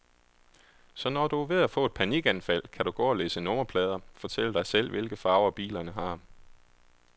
Så når du er ved at få et panikanfald, kan du gå og læse nummerplader, fortælle dig selv, hvilke farver bilerne har.